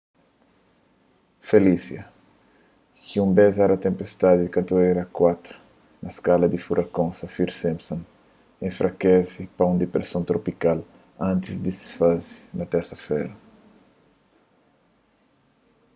felicia ki un bes éra tenpestadi di katigoria 4 na skala di furakon saffir-simpson enfrakese pa un dipreson tropikal antis di disfaze na térsa-fera